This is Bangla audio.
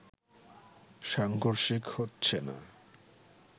সাংঘর্ষিক হচ্ছে না